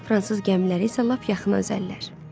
Fransız gəmiləri isə lap yaxına üzəllər.